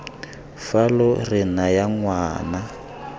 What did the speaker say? fa lo re naya ngwana